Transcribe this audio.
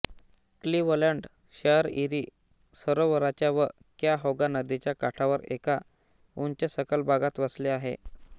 Cleveland शहर Erie सरोवराच्या व क्याहोगा नदीच्या काठावर एका उंचसखल भागात वसले आहे